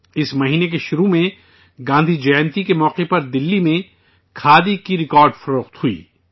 اس مہینہ کی شروعات میں گاندھی جینتی کے موقع پر دہلی میں کھادی کی ریکارڈ فروخت ہوئی